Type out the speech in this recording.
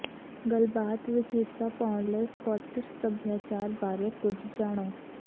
ਗੱਲਬਾਤ ਵਿੱਚ ਹਿੱਸਾ ਪਾਉਣ ਲਈ ਸਕੌਟਿਸ਼ ਸੱਭਿਆਚਾਰ ਬਾਰੇ ਕੁਝ ਜਾਣੋ